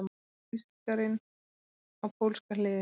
Þýskarinn á pólska hliðið!